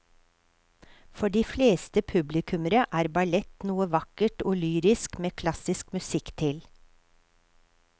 For de fleste publikummere er ballett noe vakkert og lyrisk med klassisk musikk til.